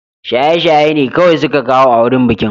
Shaye-shaye ne kawai suka kawo a wurin bikin